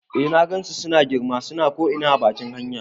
Eh na gansu suna girma, suna ko ina a bakin hanya